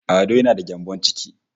Ado yana da gyambon ciki